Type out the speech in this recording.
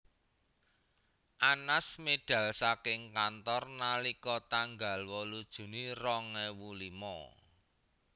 Anas medal saking kantor nalika tanggal wolu Juni rong ewu limo